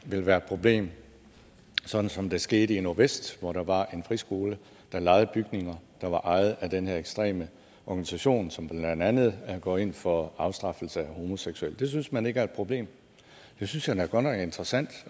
vil være et problem sådan som det skete i nordvest hvor der var en friskole der lejede bygninger der var ejet af den her ekstreme organisation som blandt andet går ind for afstraffelse af homoseksuelle det synes man ikke er et problem det synes jeg da godt nok er interessant